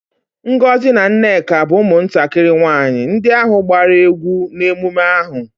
Ngozi na Nneka bu umuntakiri nwanyi ndi ahu gbara egwu n'emume aha.